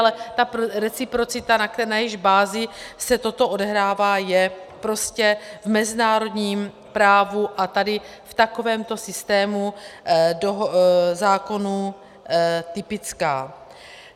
Ale ta reciprocita, na jejíž bázi se toto odehrává, je prostě v mezinárodním právu a tady v takovémto systému zákonů typická.